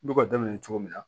N bɛ ka daminɛ cogo min na